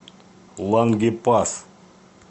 лангепас